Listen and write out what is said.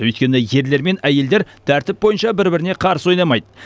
өйткені ерлер мен әйелдер тәртіп бойынша бір біріне қарсы ойнамайды